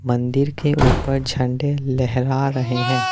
मन्दिर के उपर झंडे लहरा रहे हैं।